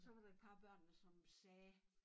Så var der et par af børnene som sagde